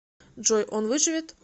джой он выживет